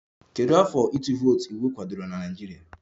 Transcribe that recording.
Kedu afọ ịtụ vootu iwu kwadoro na Naịjirịa?